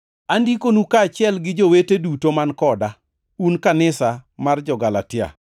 Andikonu kaachiel gi jowete duto man koda, Un kanisa mar jo-Galatia.